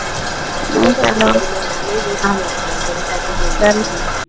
ਨਹੀਂ ਚਲੋ ਨਹੀਂ ਨਾ ਅਕਰ ਸਾਡੀ ਕੋਈ